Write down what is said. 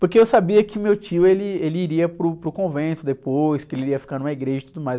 Porque eu sabia que meu tio, ele, ele iria para o, para o convento depois, que ele iria ficar numa igreja e tudo mais.